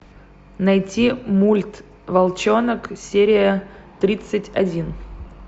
найти мульт волчонок серия тридцать один